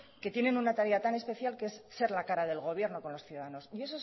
que tiene una tarea tan especial que es ser la cara del gobierno con los ciudadanos y